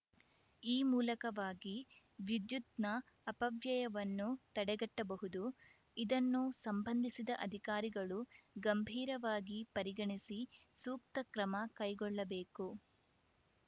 ಈ ಮೂಲಕವಾಗಿ ವಿದ್ಯುತ್‌ನ ಅಪವ್ಯಯವನ್ನು ತಡೆಗಟ್ಟಬಹುದು ಇದನ್ನು ಸಂಬಂಧಿಸಿದ ಅಧಿಕಾರಿಗಳು ಗಂಭೀರವಾಗಿ ಪರಿಗಣಿಸಿ ಸೂಕ್ತ ಕ್ರಮ ಕೈಗೊಳ್ಳಬೇಕು